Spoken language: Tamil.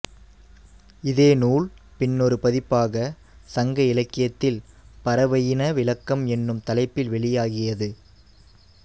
இதே நூல் பின்னொரு பதிப்பாக சங்க இலக்கியத்தில் பறவையின விளக்கம் என்னும் தலைப்பில் வெளியாகியது